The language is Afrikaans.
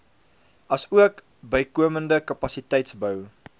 asook bykomende kapasiteitsbou